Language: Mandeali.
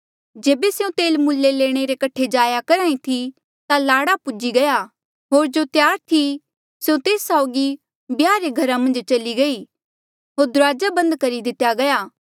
जेबे स्यों तेल मुल्ले लैणे रे कठे जाया करहा ई थी ता लाड़ा पूजी गया होर जो त्यार थी स्यों तेस साऊगी ब्याह रे घरा मन्झ चली गई होर दुराजा बन्द करी दितेया गया